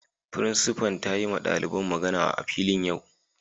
Frincipa'n ta yi ma dalibain magana a'filin yau.